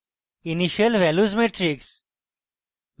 initial values matrix